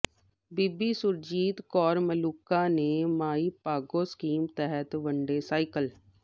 ਬੀਬੀ ਸੁਰਜੀਤ ਕੌਰ ਮਲੂਕਾ ਨੇ ਮਾਈ ਭਾਗੋ ਸਕੀਮ ਤਹਿਤ ਵੰਡੇ ਸਾਈਕਲ